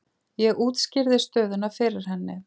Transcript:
Ég útskýrði stöðuna fyrir henni.